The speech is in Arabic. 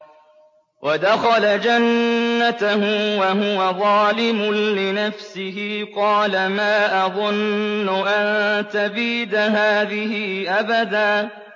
وَدَخَلَ جَنَّتَهُ وَهُوَ ظَالِمٌ لِّنَفْسِهِ قَالَ مَا أَظُنُّ أَن تَبِيدَ هَٰذِهِ أَبَدًا